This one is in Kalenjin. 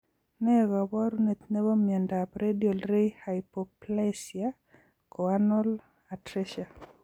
Nee kaparunet nebo miondap radial ray hypoplasia choanal atresia